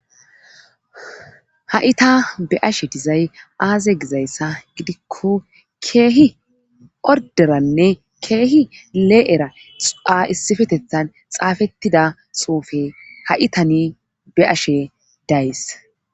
Ha7ita be ashe dizay aaze gizayssa gidikko keehi orderanne keehi lee7era a issifetethan xaafettida soufe ha7itani be ashe days